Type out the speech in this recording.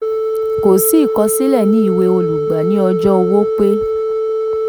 kò sí ìkọsílẹ̀ ní ìwé olùgbà ní ọjọ́ owó pé